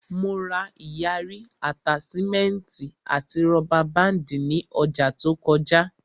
Mo ra ìyarí, àtáṣímẹ́ẹ̀tì àti rọ́bà báàndì ní ọjà to kọjá